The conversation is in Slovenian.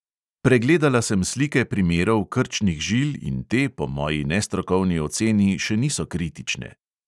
Pregledala sem slike primerov krčnih žil in te po moji nestrokovni oceni še niso kritične.